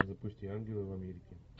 запусти ангелы в америке